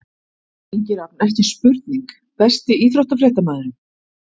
Ingi Rafn, ekki spurning Besti íþróttafréttamaðurinn?